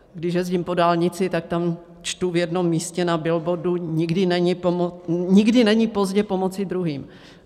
Když jezdím po dálnici, tak tam čtu v jednom místě na billboardu: nikdy není pozdě pomoci druhým.